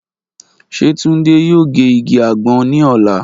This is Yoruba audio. Ṣe Tunde yoo ge igi agbon ni ọla?